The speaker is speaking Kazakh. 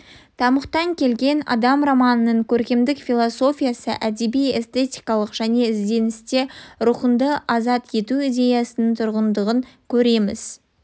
тамұқтан келген адам романының көркемдік философиясы әдеби-эстетикалық жаңа ізденісінде рухыңды азат ету идеясының тұрғандығынан көреміз